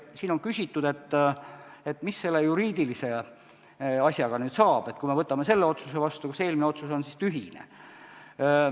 Siin on küsitud, et mis selle juriidilise asjaga nüüd saab, et kui me võtame selle otsuse vastu, kas eelmine otsus on siis tühine.